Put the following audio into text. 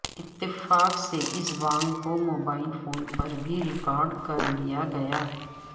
اتفاق سے اس بانگ کو موبائل فون پر بھی ریکارڈ کرلیا گیا